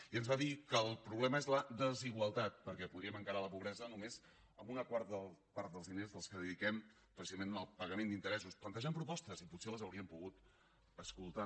i ens va dir que el problema és la desigualtat perquè podríem encarar la pobresa només amb una quarta part dels diners dels que dediquem precisament al pagament d’interessos plantejant propostes i potser les haurien pogut escoltar